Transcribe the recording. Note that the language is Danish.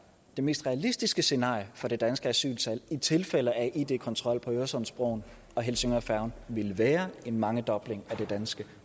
det mest realistiske scenarie for det danske asyltal i tilfælde af id kontrol på øresundsbroen og helsingørfærgen vil være en mangedobling af det danske